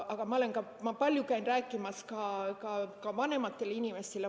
Ma olen palju käinud rääkimas ka vanematele inimestele.